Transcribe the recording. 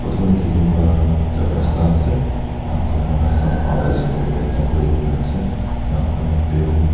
photo tae dikhipa toh ekta rasta ase enakura rasta par toh ase koilae tu ekta building ase enakurna building --